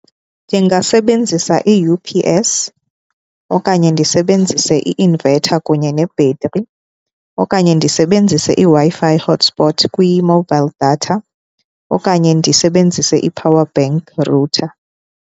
Ndingasebenzisa i-U_P_S okanye ndisebenzise i-inverter kunye nebhetri okanye ndisebenzise iWi-Fi hotspot kwi-mobile data, okanye ndisebenzise i-power bank router.